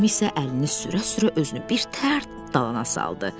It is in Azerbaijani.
Tom isə əlini sürə-sürə özünü bir tərt dalana saldı.